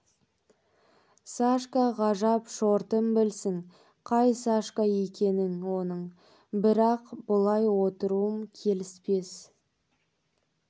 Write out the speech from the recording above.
сашка ғажап шортым білсін қай сашка екенін оның бірақ бұлай отыруым келіспес